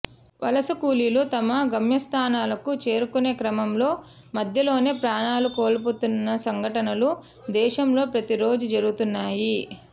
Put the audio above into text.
వలస కూలీలు తమ గమ్యస్థానాలకు చేరుకునే క్రమంలో మధ్యలోనే ప్రాణాలు కోల్పోతున్న సంఘటనలు దేశంలో ప్రతి రోజూ జరుగుతున్నాయి